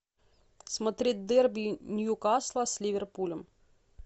смотреть дерби ньюкасла с ливерпулем